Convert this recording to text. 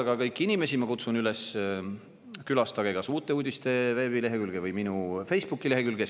Aga kõiki inimesi ma kutsun üles külastama kas veebilehekülge Uued Uudised või minu Facebooki lehekülge.